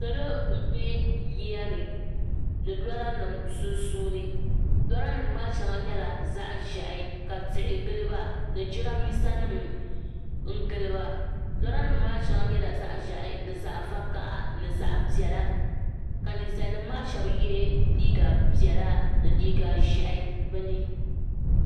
Salo m-be yiya ni ni loorinima sunsuuni loorinima maa shɛŋa nyɛla zaɣ' ʒɛhi ka tihi gili ba ni jirammisanima gili ba loorinima shɛŋa nyɛla zaɣ' ʒɛhi zaɣ' vakaha ni zaɣ' piɛla ka ninsalinima maa shɛba ye liiga piɛla ni liiga ʒɛhi bɛ ni